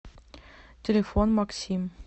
телефон максим